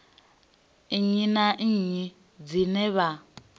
nnyi na nnyi dzine vha